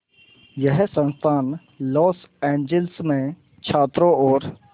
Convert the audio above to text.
यह संस्थान Los Angeles में छात्रों और